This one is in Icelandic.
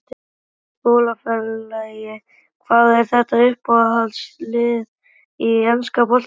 Meiðast í skólaferðalagi Hvað er þitt uppáhaldslið í enska boltanum?